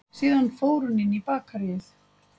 Síðan fór hún inn í bakaríið